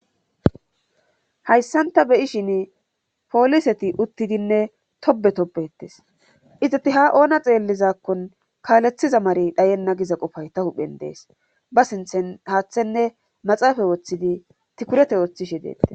hayssanta beyishin pooliseti uttidinne tobe tobettes izati ha oona xeellizakkon kaalethiza mare dhayenna giza qofay ta huphen dees ba sinthen haathenne maxaafae woththidi tikurete ooththishe deettes